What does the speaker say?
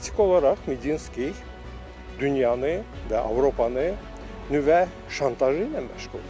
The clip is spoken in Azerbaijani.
Faktiki olaraq Medinski dünyanı və Avropanı nüvə şantajı ilə məşğuldur.